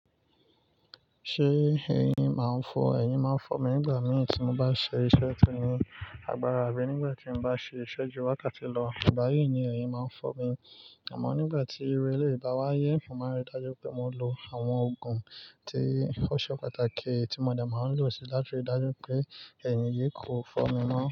Ṣé eyin maa fọ, eyin ma fọ mi nígbà mìí tí mo bá ṣe iṣẹ́ ti eyin agbára àbí nígbà tí mo bá ṣe ìṣẹ́jú wákàtí lọ, ìgbà yí ni eyín máa fọ mi. Àmọ́ nígbà tí iru elèyi bá wáyé, mò máa rí dájú pé mò ń lo àwọn òògùn tí ó ṣe pàtàkì tí mò de máa ń lò sí láti rí dájú pé eyín yí kò fọ́ mi mọ́